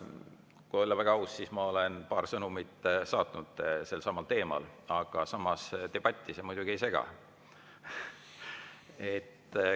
Kui olla väga aus, siis ma olen paar sõnumit saatnud sellelsamal teemal, aga samas, debatti see muidugi ei sega.